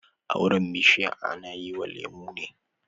Auren bishiya ana yi wa lemo ne